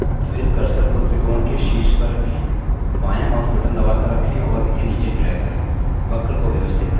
फिर cursor को त्रिकोण के शीर्ष पर रखें बायाँ mouse button दबाकर रखें और इसे नीचे drag करें